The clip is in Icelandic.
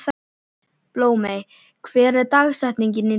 Blómey, hver er dagsetningin í dag?